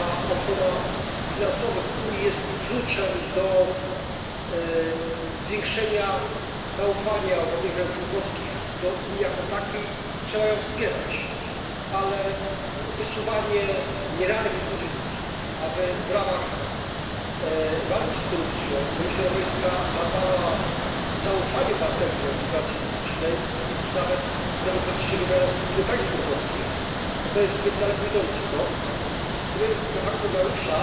Ochrona interesów finansowych Unii jest kluczem do zwiększenia zaufania obywateli państw członkowskich do Unii jako takiej i trzeba ją wspierać, ale wysuwanie nierealnych propozycji, aby w ramach walki z korupcją Komisja Europejska badała zaufanie obywateli do administracji publicznej czy nawet demokratycznie wybrane struktury państw członkowskich, to jest zbyt daleko idący krok, który de facto narusza